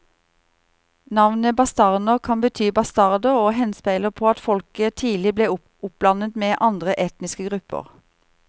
Navnet bastarner kan bety bastarder og henspeiler på at folket tidlig ble oppblandet med andre etniske grupper.